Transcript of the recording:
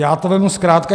Já to vezmu zkrátka.